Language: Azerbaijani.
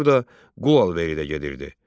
Burada qul alveri də gedirdi.